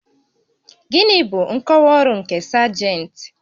Gịnị bụ nkọwa ọrụ nke sajentị?